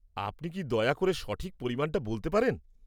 আপনি কি দয়া করে সঠিক পরিমাণটা বলতে পারেন?